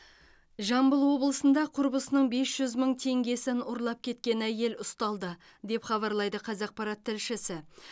жамбыл облысында құрбысының бес жүз мың теңгесін ұрлап кеткен әйел ұсталды деп хабарлайды қазақпарат тілшісі